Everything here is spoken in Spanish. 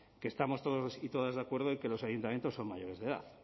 que estamos todos y todas de acuerdo en que los ayuntamientos son mayores de edad